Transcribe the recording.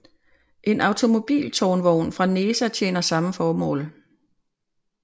En automobiltårnvogn fra NESA tjener samme formål